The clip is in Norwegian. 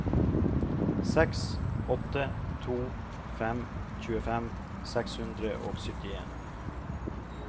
seks åtte to fem tjuefem seks hundre og syttien